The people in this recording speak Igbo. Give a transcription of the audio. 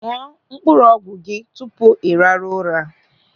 Ñụọ mkpụrụ ọgwụ gị tupu ị rahụ ụra.